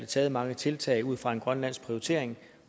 taget mange tiltag ud fra en grønlandsk prioritering